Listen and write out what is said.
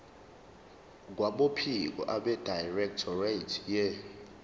kwabophiko abedirectorate ye